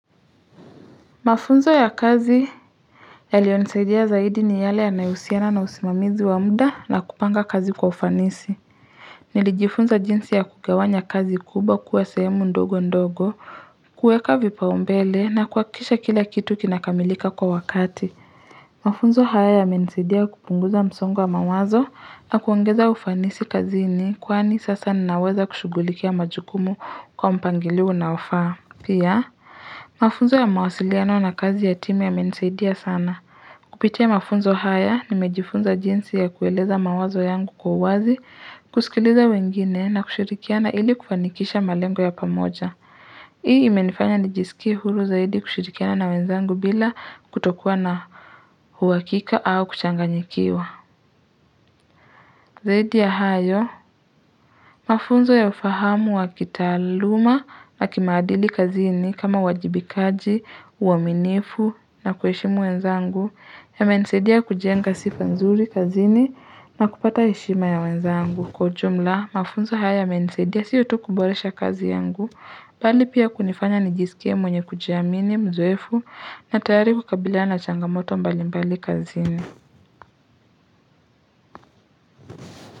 Mafunzo ya kazi yalionisidia zaidi ni yale yanayosiana na usimamizi wa muda na kupanga kazi kwa ufanisi. Nilijifunza jinsi ya kugawanya kazi kubwa kuwa sehemu ndogo ndogo, kueka vipa umbele na kuakisha kila kitu kinakamilika kwa wakati. Mafunzo haya yamenisidia kupunguza msongo wa mawazo na kuongeza ufanisi kazini kuwani sasa ninaweza kushugulikia majukumu kwa mpangilio unaofaa. Pia, mafunzo ya mawasiliano na kazi ya timu yamenisaidia sana. Kupitia mafunzo haya nimejifunza jinsi ya kueleza mawazo yangu kwa uwazi, kusikiliza wengine na kushirikiana ili kufanikisha malengo ya pamoja. Hii imenifanya nijisikie huru zaidi kushirikiana na wenzangu bila kutokua na huwakika au kuchanganyikiwa. Zaidi ya hayo, mafunzo ya ufahamu wa kitaluma na kimaadili kazini kama wajibikaji, uaminifu na kueshimu wenzangu yamenisedia kujenga sifa nzuri kazini na kupata heshima ya wenzangu. Kwa ujumla, mafunzo haya yamenisedia siyo tu kuboresha kazi yangu, bali pia kunifanya nijisikie mwenye kujiamini, mzoefu na tayari kukabilana changamoto mbali mbali kazini.